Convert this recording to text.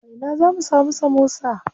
A ina zamu samu samosa?